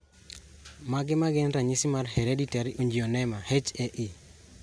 Mage magin ranyisi mag Hereditary angioedema (HAE)